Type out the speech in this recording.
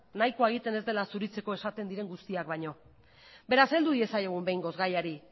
nahikoa egiten ez dela zuritzeko esaten diren guztiak baino beraz heldu diezaiogun behingoz gaiari